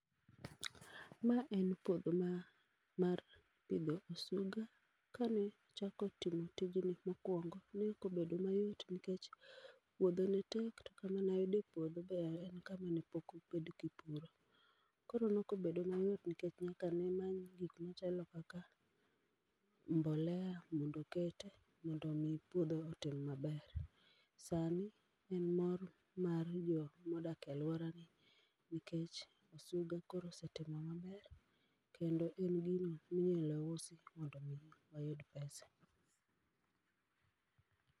Ma en puodho ma mar pidho osuga. Kane achako timo tijni mokwongo, ne okobedo mayot nikech puodho netek to kama nayudo e puodho be en kama nepok obed kipuro. Koro nok obedo mayot nikech nyaka nemany gik machalo kaka mbolea mondo okete, mondo mi puodho otim maber. Sani, en mor mar jo modak e alworani, nikech osuga koro osetimo maber, kendo en gini minyalo usi mondo mi oyud pesa